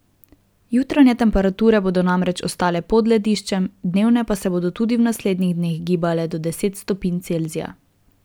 Jutranje temperature bodo namreč ostale pod lediščem, dnevne pa se bodo tudi v naslednjih dneh gibale do deset stopinj Celzija.